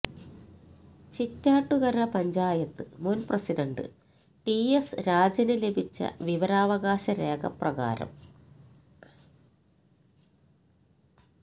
ചിറ്റാറ്റുകര പഞ്ചായത്ത് മുൻ president T S രാജന് ലഭിച്ച വിവരാവകാശ രേഖ പ്രകാരം